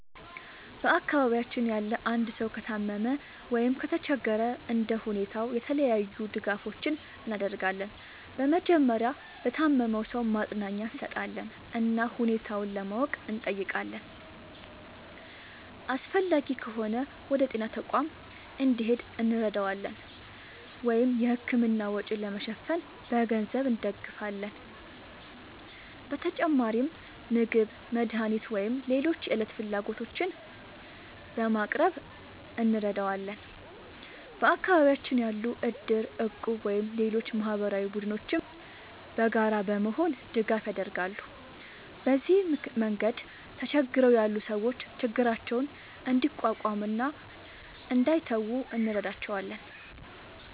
በአካባቢያችን ያለ አንድ ሰው ከታመመ ወይም ከተቸገረ እንደ ሁኔታው የተለያዩ ድጋፎችን እናደርጋለን። በመጀመሪያ ለታመመው ሰው ማጽናኛ እንሰጣለን እና ሁኔታውን ለማወቅ እንጠይቃለን። አስፈላጊ ከሆነ ወደ ጤና ተቋም እንዲሄድ እንረዳዋለን ወይም የሕክምና ወጪ ለመሸፈን በገንዘብ እንደግፋለን። በተጨማሪም ምግብ፣ መድኃኒት ወይም ሌሎች የዕለት ፍላጎቶችን በማቅረብ እንረዳዋለን። በአካባቢያችን ያሉ እድር፣ እቁብ ወይም ሌሎች ማህበራዊ ቡድኖችም በጋራ በመሆን ድጋፍ ያደርጋሉ። በዚህ መንገድ ተቸግረው ያሉ ሰዎች ችግራቸውን እንዲቋቋሙ እና እንዳይተዉ እንረዳቸዋለን።